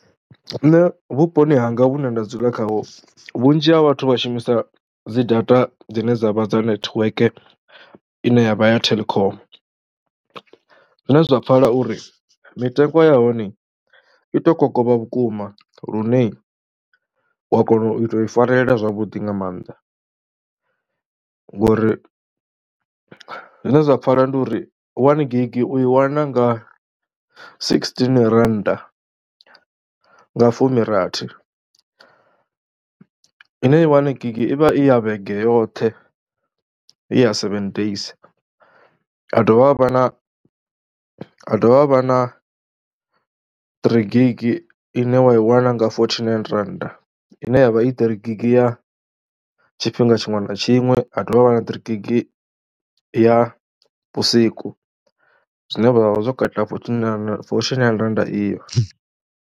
Nṋe vhuponi hanga vhune nda dzula khaho vhunzhi ha vhathu vha shumisa dzi data dzine dza vha dza network ine ya vha ya Telkom zwine zwa pfhala uri mitengo ya hone i tou kokovha vhukuma lune wa kona u tou i farelela zwavhuḓi nga maanḓa, ngori zwine zwa pfhala ndi uri wani gigi u i wana nga sigisitini rannda nga fumirathi ine wani gigi i vha i ya vhege yoṱhe. I ya seven days ha dovha ha vha na ha dovha ha vha na ṱirii gigi ine wa i wana nga fothinaini rannda ine ya vha i ṱirii gigi ya tshifhinga tshiṅwe na tshiṅwe, ha dovha ha vha na ṱirii gigi ya vhusiku zwine vha vha vha zwo katela fothinaini rannda iyo.